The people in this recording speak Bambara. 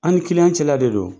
An ni kiliyanw cɛla de don